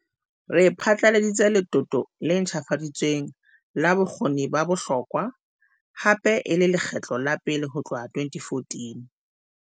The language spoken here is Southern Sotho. Re phatlaladitse letoto le ntjhafaditsweng la Bokgoni ba Bohlokwa, hape e le lekgetlo la pele ho tloha ka 2014.